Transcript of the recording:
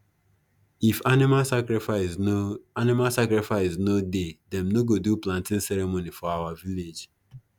if animal sacrifice no animal sacrifice no dey them no go do planting ceremony for our village